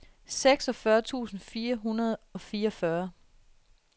seksogfyrre tusind fire hundrede og fireogfyrre